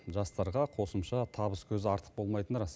жастарға қосымша табыс көзі артық болмайтыны рас